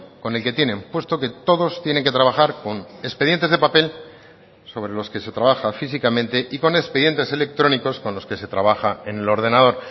con el que tienen puesto que todos tienen que trabajar con expedientes de papel sobre los que se trabaja físicamente y con expedientes electrónicos con los que se trabaja en el ordenador